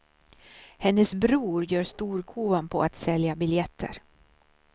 Hennes bror gör storkovan på att sälja biljetter.